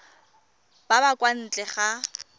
ba ba kwa ntle ga